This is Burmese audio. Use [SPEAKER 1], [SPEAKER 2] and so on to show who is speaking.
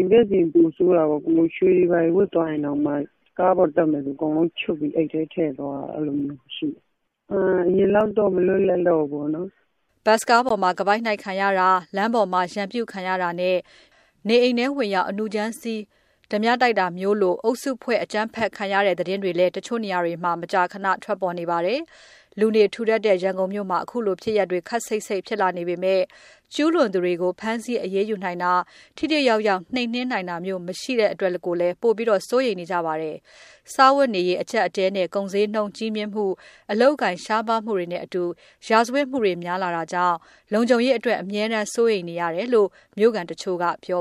[SPEAKER 1] YBS စီးရင် ပိုဆိုးတာပေါ့။ ရွှေတွေဘာတွေ ဝတ်သွားရင်တောင်မှ ကားပေါ်တက်မယ်ဆို အကုန်လုံးချွတ်ပြီး အိတ်ထဲထည့်သွားရတာမျိုး
[SPEAKER 2] ။ အရင်လောက
[SPEAKER 1] ်တော့ မလွတ်လပ်တော့ဘူးပေါ့။
[SPEAKER 2] " ဘတ်စ်ကားပေါ်မှာ ခါးပိုက်နှိုက်ခံရတာ၊ လမ်းပေါ်ရန်ပြုခံရတာနဲ့ နေအိမ်ထဲ အနုကြမ်းစီး ဝင်လုတာလို အုပ်စုဖွဲ့အကြမ်းဖက်ခံရတဲ့ သတင်းတွေလည်း နေရာတချို့မှာ မကြာခဏ ထွက်ပေါ်နေပါတယ်။ လူနေထူထပ်တဲ့ ရန်ကုန်မြို့မှာ ဒီလိုဖြစ်ရပ်တွေ ခပ်စိပ်စိပ် ဖြစ်လာနေပေမယ့် ကျူးလွန်သူတွေကို ဖမ်းဆီးအရေးယူနိုင်တာ၊ ထိထိရောက်ရောက် နှိမ်နှင်းနိုင်တာမျိုး မရှိဘူးဆိုပြီးတော့လည်း တချို့က ငြီးတွား နေကြပါတယ်။ စားဝတ်နေရေး အကျပ်အတည်းနဲ့ ကုန်ဈေးနှုန်းကြီးမြင့်မှု၊ အလုပ်အကိုင် ရှားပါးမှုတွေနဲ့အတူ ရာဇာဝတ်မှုတွေ များလာတာကြောင့် လုံခြုံရေးအတွက် အမြဲ စိုးရိမ်နေရတဲ့အကြောင်း ရန်ကုန်မြို့ခံတချို့က ပြော